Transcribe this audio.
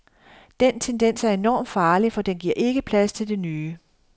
Den tendens er enormt farlig, for den giver ikke plads til det nye.